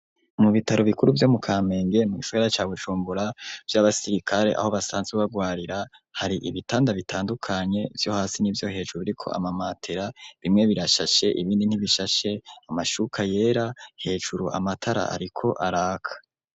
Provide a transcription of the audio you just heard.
Mu bitaro bikuru vyo mu Kamenge mugisagara ca Bujumbura vy'abasirikare aho basanzwe bagwarira, hari ibitanda bitandukanye vyo hasi n'ivyo hejuru biriko amamatera bimwe birashashe ibindi ntibishashe amashuka yera hejuru amatara ariko araka.